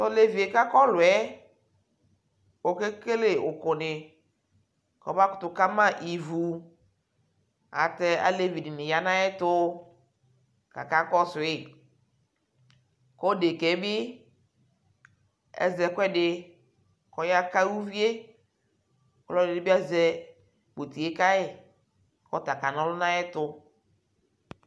Tɔlevi kʋ akɔ ɛlɔ yɛ okekele uku dι kʋ ɔbakutu kama ivu ayʋɛlʋtɛ alevi dι nι ya nʋ ayʋ ɛtʋ kʋ akakɔsui Kʋ ɔdika yɛ bι azɛ ɛkuɛdι kʋ ɔyaka uvi yɛ Ɔlʋɔdι bι azɛ ʋti yɛ kayʋ kʋ ɔta kana ɔlʋ nʋ ayʋ ɛtʋ